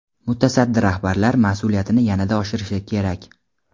mutasaddi rahbarlar mas’uliyatini yanada oshirishi kerak.